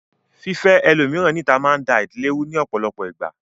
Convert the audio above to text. Fífẹ́ ẹlòmíràn níta máa ń da ìdílé rú ní ọ̀pọ̀lọpọ̀ ìgbà ni